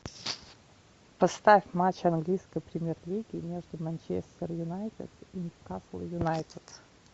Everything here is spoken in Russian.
поставь матч английской премьер лиги между манчестер юнайтед и ньюкасл юнайтед